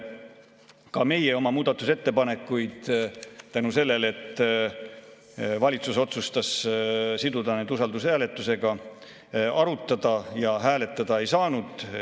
Ka meie oma muudatusettepanekuid, sest valitsus otsustas siduda need usaldushääletusega, arutada ja hääletada ei saanud.